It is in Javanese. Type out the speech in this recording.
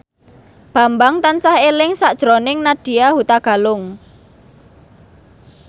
Bambang tansah eling sakjroning Nadya Hutagalung